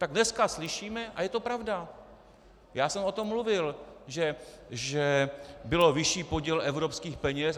Tak dneska slyšíme, a je to pravda, já jsem o tom mluvil, že byl vyšší podíl evropských peněz.